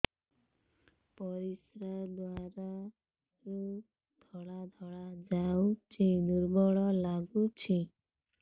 ପରିଶ୍ରା ଦ୍ୱାର ରୁ ଧଳା ଧଳା ଯାଉଚି ଦୁର୍ବଳ ଲାଗୁଚି